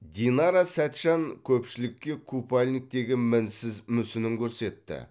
динара сәтжан көпшілікке купальниктегі мінсіз мүсінін көрсетті